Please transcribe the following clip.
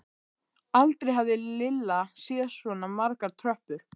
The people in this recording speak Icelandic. Aldrei hafði Lilla séð svona margar tröppur.